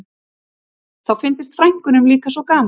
Þá fyndist frænkunum líka svo gaman